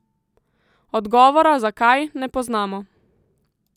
Odgovora, zakaj, ne poznamo.